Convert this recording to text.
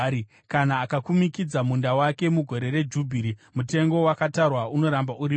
Kana akakumikidza munda wake mugore reJubhiri, mutengo wakatarwa unoramba uripo.